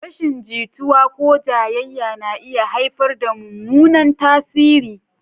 Rashin jituwa ko jayayya na iya haifar da mummunan tasiri.